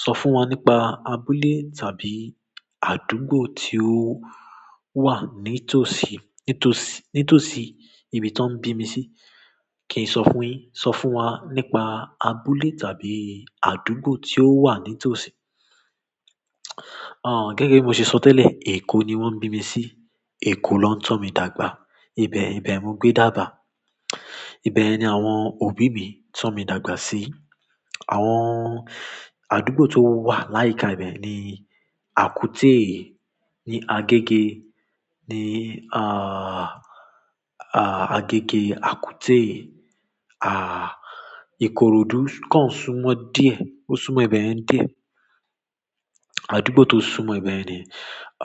Sọ fún wa nípa abúlé tàbí àdúgbò tí o wà ní tòsí, ní tòsí, ní tòsí ibi tó ń bí mi sí. Kì í sọ fún yi, sọ fún wa nípa abúlé tàbí àdúgbò tí ó wà ní tòsí. Gẹ́gẹ́ bi mo ṣe sọ tẹlẹ Eko ni wọn bi mi si Eko ni won to mi dàgbà ibẹ̀, ibẹ̀ mo gbé dààbà. Ibẹ̀ ni àwọn òbí mi tọ́ mi dàgbà sí. Àwọn àdúgbò tó wà láìka ibẹ̀ ni Àkúté, ní Agege, ní aah, aah Agege, Àkúté, aah Ikorodu kan súnmọ́ díẹ̀, ó súnmọ́ ibẹ̀ yẹn díẹ̀. Àdúgbò tó súnmọ́ ibẹ̀ ni.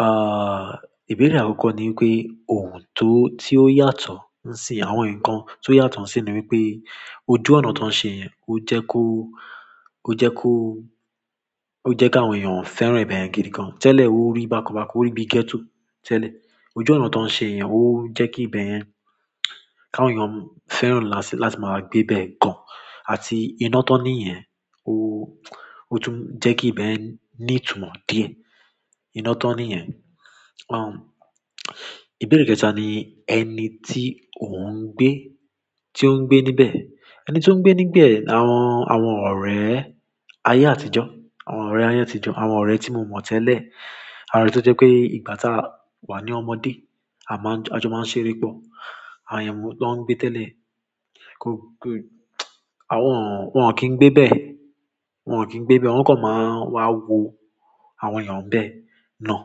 Aah ìbéèrè àkọ́kọ́ ni pé ohun tó, tí ó yàtọ̀ ní ìsín, àwọn nǹkan tí ó yàtọ̀ ní ìsín ni wípé ojú ọ̀nà tó ń ṣe yẹn ó jẹ́ kó, ó jẹ́ kó, ó jẹ́ kí àwọn èèyàn fẹ́ràn ibẹ̀ yen gidi gan. Tẹ́lẹ̀ o rí bákan bákan, o rí bí gẹ́tò tẹ́lẹ̀. Ojú ọ̀nà tó ń ṣe yẹn ó jẹ́ kí ibẹ̀ yẹn, kí àwọn èèyàn fẹ́ràn láti, láti máa gbé bẹ́ẹ̀ gan. Àti iná tó ní yẹn, ó, ó tún jẹ́ kí ibẹ̀ yẹn ní ìtumọ̀ díẹ̀. Iná tó ní yẹn. Aah ìbéèrè kẹ́ta ni ẹni tí òun gbé, tí ó ń gbé níbẹ̀. Ẹni tí ó ń gbé níbẹ̀ ni àwọn, àwọn ọ̀rẹ́ ayé àtijọ́, àwọn ọ̀rẹ́ ayé àtijọ́, àwọn ọ̀rẹ́ tí mo mọ̀ tẹ́lẹ̀. Àrá èyin tí ó jẹ́ pé ìgbà tá a wà ní ọmọdé, a máa ń, àjọ máa ń ṣeré pọ̀. Àwọn èèyàn tó ń gbé tẹ́lẹ̀, kò, kò àwọn, wọ́n kì í gbé bẹ́ẹ̀, wọ́n kì í gbé bẹ́ẹ̀, wọ́n kọ̀ máa wá wo àwọn èèyàn bẹ́ẹ̀ náà.